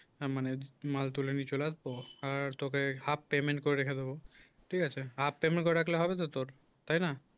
মানে মাল তুলে নিয়ে চলে আসবো আর তোকে half payment করে রেখে দেবো ঠিক আছে half payment করে রাখতে হবে তো তোর তাই না